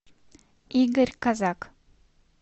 игорь казак